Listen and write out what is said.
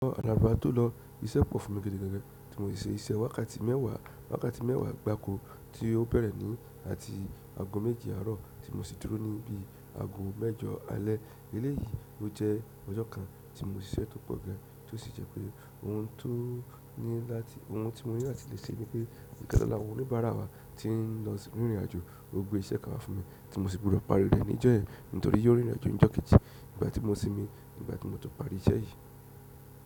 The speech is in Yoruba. Ọjọ́ àná bá tó lọ, iṣẹ́ pọ̀ fún mi gidi gan gan, tí mo ṣe iṣẹ́ wákàtí mẹ́wàá, wákàtí mẹ́wàá gbáko tí ó bẹ̀rẹ̀ ní àti ago méjì àárọ̀ tí mo sì dúró níbí ago mẹ́jọ alẹ́. Eléyìí ló jẹ́ ọjọ́ kan tí mo ṣe iṣẹ́ tó pọ̀ gan, tó sì jẹ́ pé òun tí mo ní láti ṣe ni pé ìkan nínú àwọn onibara wa ni tin lọ sí ìrìn àjò ní ogbe iṣẹ́ kan wá fún mi, tí mo sì gbọdọ parí rẹ̀ ní ọjọ́ yẹn. Nítorí pé yìí o rìn ìrìn-àjò ní ọjọ́ kejì ìgbà tí mo sìnmí, nìgbà tí mo tó parí iṣẹ́ yìí.